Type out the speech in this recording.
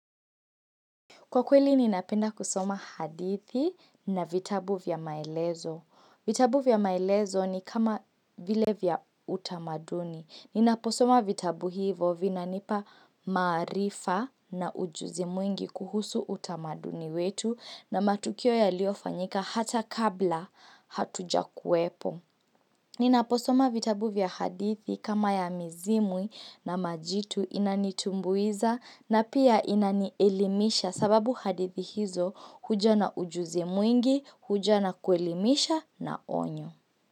Kwa kweli ninapenda kusoma hadithi na vitabu vya maelezo. Vitabu vya maelezo ni kama vile vya utamaduni. Ninaposoma vitabu hivo vinanipa maarifa na ujuzi mwingi kuhusu utamaduni wetu na matukio yaliofanyika hata kabla hatuja kuepo. Ninaposoma vitabu vya hadithi kama ya mizimwi na majitu inanitumbuiza na pia inanielimisha. Sababu hadithi hizo huja na ujuzi mwingi, huja na kuelimisha na onyo.